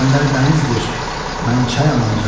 İsgəndər dənizdir, mən çayam ancaq.